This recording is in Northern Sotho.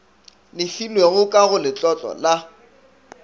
lefilwego ka go letlotlo la